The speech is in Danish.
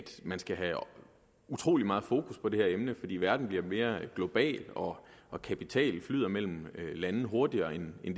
man skal have utrolig meget fokus på det her emne fordi verden bliver mere global og og kapital flyder mellem landene hurtigere end det